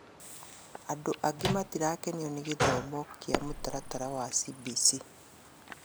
Andũ angĩ matirakenio nĩ gĩthomo kĩa mũtaratara wa CBC